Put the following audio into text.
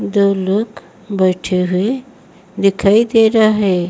दो लोग बैठे हुए दिखाई दे रहा हैं।